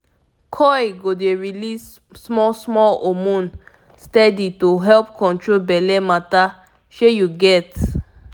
coil go dey release small-small hormone steady to help control belle matter shey u get.